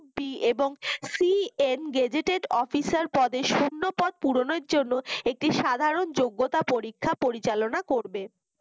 এবং CNgazetted officer পদে এবং শূন্য পদ পুরণের জন্য একটি সাধারন যোগ্যতা পরীক্ষা পরিচালনা করবে